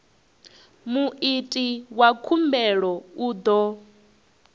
muiti wa khumbelo u ḓo